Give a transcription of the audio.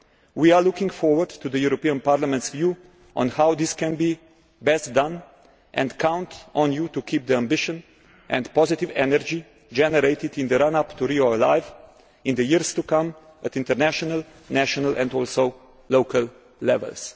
We are looking forward to the European Parliament's view on how this can be best done, and count on you to keep the ambition and positive energy generated in the run up to Rio alive in the years to come at international, national and also local levels.